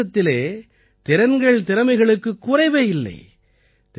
நமது தேசத்திலே திறன்கள்திறமைகளுக்குக் குறைவே இல்லை